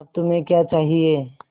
अब तुम्हें क्या चाहिए